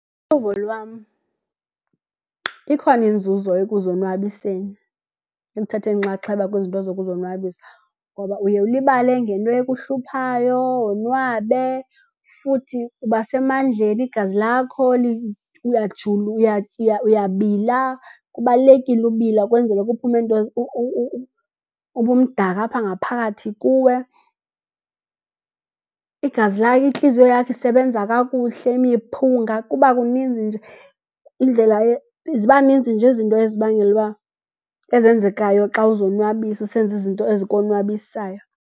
Uluvo lwam ikhona inzuzo ekuzonwabiseni ekuthatheni inxaxheba kwizinto zokuzonwabisa ngoba uye ulibale ngento ekuhluphayo wonwabe futhi uba semandleni igazi lakho uyabila. Kubalulekile ukubila kwenzele kuphume ubumdaka apha ngaphakathi kuwe. Igazi intliziyo yakho isebenza kakuhle, imiphunga, kuba kuninzi nje indlela ziba ninzi nje izinto ezibangela ukuba ezenzekayo xa uzonwabisa usenza izinto ezikonwabisayo.